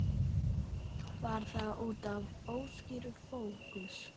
Var það útaf óskýrum fókus?